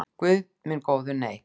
Guð minn góður nei.